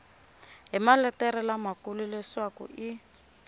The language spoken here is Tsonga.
hi maletere lamakulu leswaku i